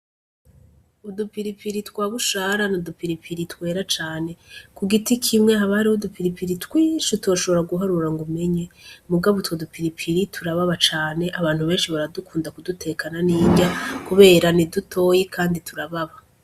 Udupiripiri twa bushara n'udupiripiri twera cane kugiti kimwe haba hariho udupiripiri twinshi utoshobora guharura ngo umenye mugabo utwo dupiripiri turababana cane abantu benshi baradukunda kudutekana n'indya kubera ni dutoya kandi turababa.